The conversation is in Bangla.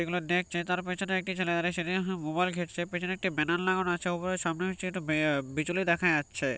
এগুলো দেখছে তার পেছনে একটি ছেলে অরে সেদি আ মোবাইল ঘাটছে পেছনে একটি ব্যানার লাগানো আছে উপর এ সামনে একটি আ বিচলি দেখা যাচ্ছে-এ --